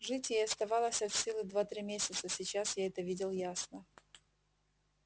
жить ей оставалось от силы два-три месяца сейчас я это видел ясно